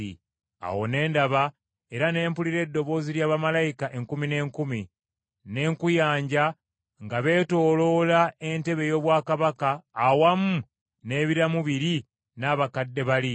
Awo ne ndaba era ne mpulira eddoboozi lya bamalayika enkumi n’enkumi, n’enkuyanja nga beetoolodde entebe ey’obwakabaka awamu n’ebiramu biri n’abakadde bali.